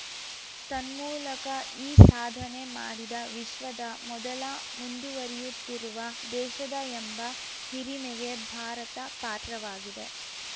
ತನ್ಮೂಲಕ ಈ ಸಾಧನೆ ಮಾಡಿದ ವಿಶ್ವದ ಮೊದಲ ಮುಂದುವರಿಯುತ್ತಿರುವ ದೇಶದ ಎಂಬ ಹಿರಿಮೆಗೆ ಭಾರತ ಪಾತ್ರವಾಗಿದೆ